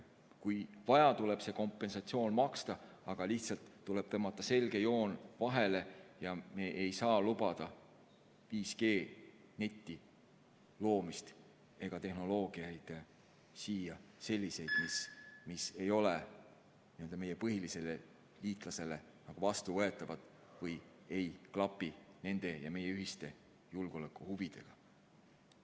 Kui vaja, tuleb see kompensatsioon maksta, aga lihtsalt tuleb tõmmata selge joon vahele ja me ei saa lubada siin 5G neti loomist ega sellist tehnoloogiat, mis ei ole meie põhilisele liitlasele vastuvõetavad või ei klapi nende ja meie ühiste julgeolekuhuvidega.